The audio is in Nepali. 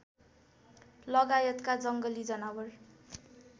लगायतका जङ्गली जनावर